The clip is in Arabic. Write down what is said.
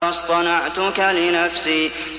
وَاصْطَنَعْتُكَ لِنَفْسِي